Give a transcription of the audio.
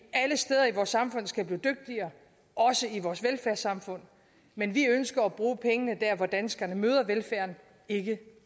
vores samfund skal blive dygtigere også i vores velfærdssamfund men vi ønsker at bruge pengene der hvor danskerne møder velfærden ikke